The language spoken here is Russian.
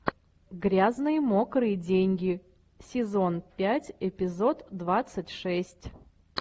грязные мокрые деньги сезон пять эпизод двадцать шесть